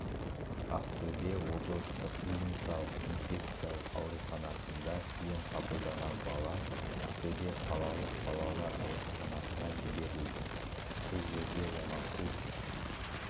ақтөбе облыстық клиникалық инфекциялық ауруханасында ем қабылдаған бала ақтөбе қалалық балалар ауруханасына жіберілді бұл жерде оңалту